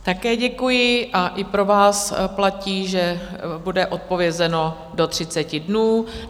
Také děkuji a i pro vás platí, že bude odpovězeno do 30 dnů.